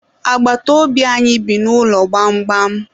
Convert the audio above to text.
Agbata obi anyị bi n'ụlọ gbamgbam.